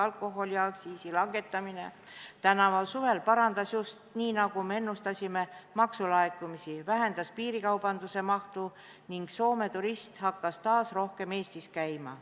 Alkoholiaktsiisi langetamine tänavu suvel parandus just nii, nagu me ennustasime, maksulaekumisi, vähendas piirikaubanduse mahtu ning Soome turist hakkas taas rohkem Eestis käima.